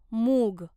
मूग